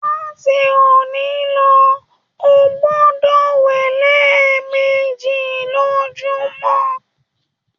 Láti òní lọ, o gbọdọ wẹ lẹẹmeji lojumọ!